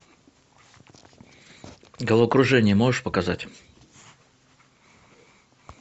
головокружение можешь показать